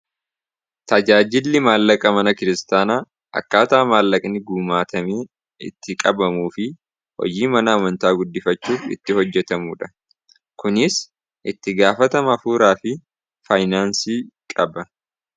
tajaajilli maallaqa mana kiristaanaa akkaataa maallaqni guumaatamii itti qabamuu fi hojii mana amantaa guddifachuu itti hojjetamudha kunis itti gaafatama hafuuraa fi faayinaansii qaba